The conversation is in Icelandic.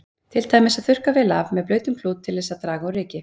Til dæmis að þurrka vel af með blautum klút til þess að draga úr ryki.